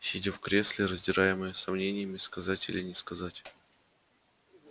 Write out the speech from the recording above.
сидя в кресле раздираемая сомнениями сказать или не сказать